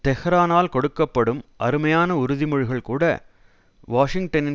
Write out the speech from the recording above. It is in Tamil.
தெஹ்ரானால் கொடுக்க படும் அருமையான உறுதிமொழிகள்கூட வாஷிங்டனின்